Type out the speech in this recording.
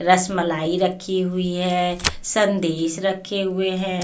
रस मलाई रखी हुई है संदेश रखे हुए हैं.